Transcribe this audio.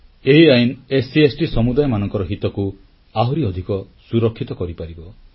ଏହି ଆଇନ ଏସସି ଓ ଏସଟି ସମୁଦାୟମାନଙ୍କର ହିତକୁ ଆହୁରି ଅଧିକ ସୁରକ୍ଷିତ କରିପାରିବ